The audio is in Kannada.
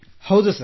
ಹೌದು ಸರ್